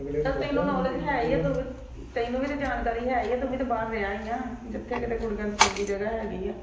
ਚੱਲ ਤੈਨੂੰ ਨੌਲਿਜ ਹੈਇਆਂ ਤੈਨੂੰ ਵੀ ਤਾਂ ਜਾਣਕਾਰੀ ਹੈ ਹੀ ਆ ਤੂੰ ਵੀ ਤਾਂ ਬਾਹਰ ਰਿਹਾ ਹੀ ਆ ਜਿਥੇ ਕਿਥੇ ਕੁੜੀਆਂ ਦੀ ਚੰਗੀ ਜਗਾਹ ਹਾਗਿਆ